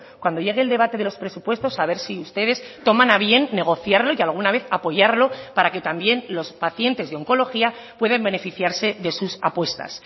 cuando llegue el debate de los presupuestos a ver si ustedes toman a bien negociarlo y alguna vez apoyarlo para que también los pacientes de oncología pueden beneficiarse de sus apuestas